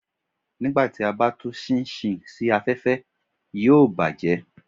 Nígbà tí a bá tú ṣinṣin sí afẹ́fẹ́, yóò bàjẹ́